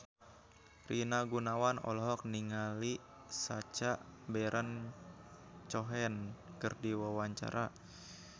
Rina Gunawan olohok ningali Sacha Baron Cohen keur diwawancara